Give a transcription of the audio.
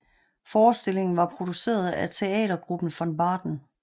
Forestillingen var produceret af teatergruppen Von Baden